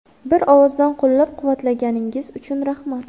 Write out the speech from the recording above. Bir ovozdan qo‘llab-quvvatlaganingiz uchun rahmat.